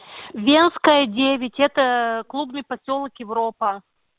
венская девять это клубный посёлок европа